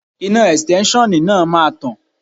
Iná Ẹ̀stẹ́nṣọ̀n náà máa tàn.